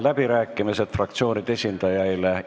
Avan fraktsioonide esindajate läbirääkimised.